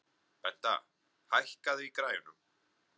Benta, hækkaðu í græjunum.